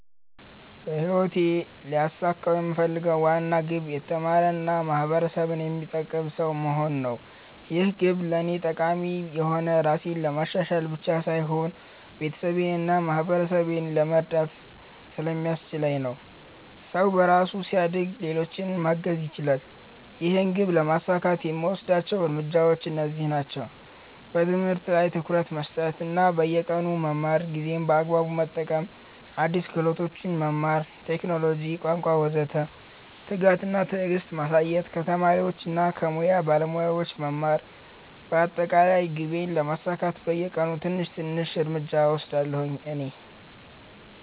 በህይወቴ ልያሳካው የምፈልገው ዋና ግብ የተማረ እና ማህበረሰብን የሚጠቅም ሰው መሆን ነው። ይህ ግብ ለእኔ ጠቃሚ የሆነው ራሴን ለማሻሻል ብቻ ሳይሆን ቤተሰቤን እና ማህበረሰቤን ለመርዳት ስለሚያስችለኝ ነው። ሰው በራሱ ሲያድግ ሌሎችንም ማገዝ ይችላል። ይህን ግብ ለማሳካት የምወስዳቸው እርምጃዎች እነዚህ ናቸው፦ በትምህርት ላይ ትኩረት መስጠት እና በየቀኑ መማር ጊዜን በአግባቡ መጠቀም አዲስ ክህሎቶች መማር (ቴክኖሎጂ፣ ቋንቋ ወዘተ) ትጋት እና ትዕግስት ማሳየት ከተማሪዎች እና ከሙያ ባለሞያዎች መማር በአጠቃላይ ግቤን ለማሳካት በየቀኑ ትንሽ ትንሽ እርምጃ እየወሰድሁ ነኝ።